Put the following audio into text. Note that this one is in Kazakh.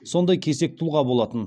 сондай кесек тұлға болатын